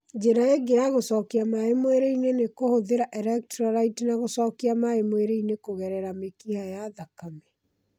Njĩra ĩngĩ ya gũcokia maĩ mwĩrĩ-inĩ nĩ kũhũthĩra electrolytes na gũcokia maĩ mwĩrĩ-inĩ kũgerera mĩkiha ya thakame